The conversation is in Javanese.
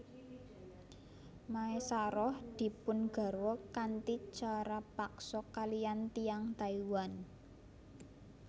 Maesaroh dipun garwa kanthi cara paksa kaliyan tiyang Taiwan